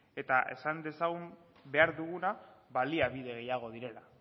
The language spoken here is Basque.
eta esan dezagun behar duguna baliabide gehiago direla